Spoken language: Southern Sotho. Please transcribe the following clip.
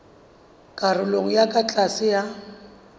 karolong e ka tlase ya